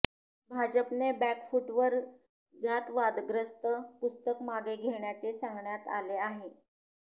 भाजपने बॅकफूटवर जात वादग्रस्त पुस्तक मागे घेण्याचे सांगण्यात आले आहे